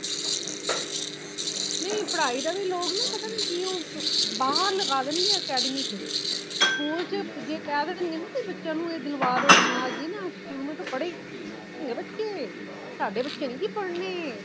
ਨਹੀਂ ਪੜਾਈ ਦਾ ਵੀ ਲੋਗ ਨਾ ਪਤਾ ਨਹੀਂ ਕਉ ਬਾਹਰ ਲਗਾ ਦੇਣਗੇ academy ਵਿਚ school ਵਿਚ ਜੇ ਕਹਿ ਦੋਗੇ ਨਾ ਕੀ ਬੱਚਿਆਂ ਇਹ ਦਿਲਵਾ ਦੋ ਨੂੰ ਨਾ ਜੀ ਨਾ school ਮੈ ਪੜੇਗੇ ਬੱਚੇ ਸਾਡੇ ਬੱਚੇ ਨਹੀਂ ਪੜ੍ਹਨੇ